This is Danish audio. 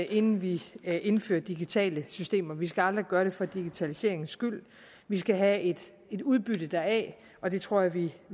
inden vi indfører digitale systemer vi skal aldrig gøre det for digitaliseringens skyld vi skal have et udbytte deraf og det tror jeg vi